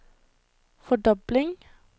fordobling